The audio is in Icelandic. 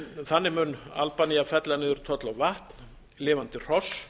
þannig mun albanía fella niður tolla á vatn lifandi hross